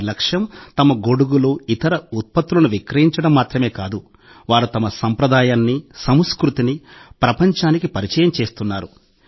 వారి లక్ష్యం తమ గొడుగులు ఇతర ఉత్పత్తులను విక్రయించడం మాత్రమే కాదు వారు తమ సంప్రదాయాన్ని సంస్కృతిని ప్రపంచానికి పరిచయం చేస్తున్నారు